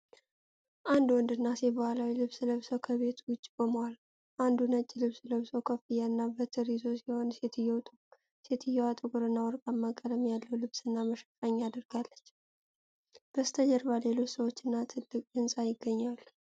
አንድ ወንድና ሴት ባህላዊ ልብስ ለብሰው ከቤት ውጭ ቆመዋል:: ወንዱ ነጭ ልብስ ለብሶ ኮፍያና በትር ይዞ ሲሆን፣ ሴትየዋ ጥቁርና ወርቃማ ቀለም ያለው ልብስና መሸፈኛ አድርጋለች:: በስተጀርባ ሌሎች ሰዎችና ትልቅ ሕንፃ ይገኛሉ::